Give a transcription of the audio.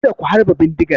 Kada ku harbe bindigar!